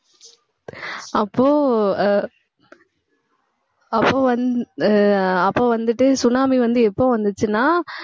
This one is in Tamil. அப்போ அஹ் அப்போ வந்~ அஹ் அப்போ வந்துட்டு tsunami வந்து எப்ப வந்துச்சின்னா